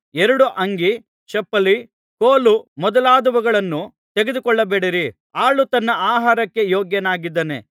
ಎರಡು ಅಂಗಿ ಚಪ್ಪಲಿ ಕೋಲು ಮೊದಲಾದವುಗಳನ್ನೂ ತೆಗೆದುಕೊಳ್ಳಬೇಡಿರಿ ಆಳು ತನ್ನ ಆಹಾರಕ್ಕೆ ಯೋಗ್ಯನಾಗಿದ್ದಾನೆ